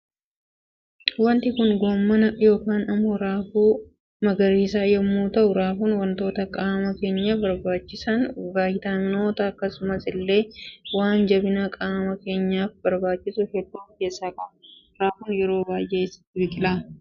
waanti Kun gommana yookaan immoo raafuu magariisaa yommuu ta'u raafuun waantota qaama keenyaaf barbaachisa vaayitaamimoota akkasumas illee waan jabina qaama keenyaaf barbaachisu hedduu of keessaa qaba. Raafuun yeroo baay'ee eessatti biqila?